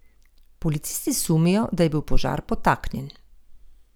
Policisti sumijo, da je bil požar podtaknjen.